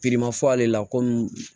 fɔ ale la komi